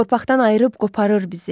Torpaqdan ayırıb qoparır bizi.